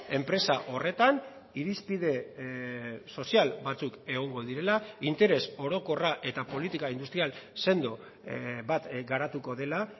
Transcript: enpresa horretan irizpide sozial batzuk egongo direla interes orokorra eta politika industrial sendo bat garatuko dela